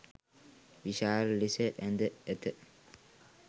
විශාල ලෙස ඇඳ ඇත